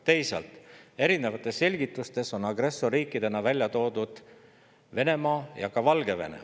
Teisalt, erinevates selgitustes on agressorriikidena välja toodud Venemaa ja ka Valgevene.